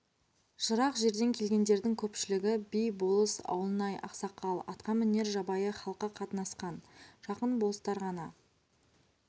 жырақ жерден келгендердің көпшілігі би болыс ауылнай ақсақал атқа мінер жабайы халқы қатынасқан жақын болыстар ғана